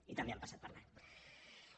i també han passat per l’ aro